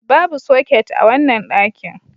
Babu soket a wannan dakin.